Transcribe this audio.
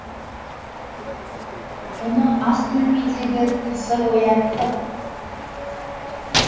мұны ас бөлмедегі тысыр оятты